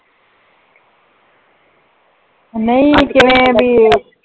ਨਹੀ ਕਿਵੇਂ ਭੀ?